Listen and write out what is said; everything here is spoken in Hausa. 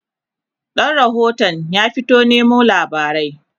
ɗan rahotun ya fita Nemo labarai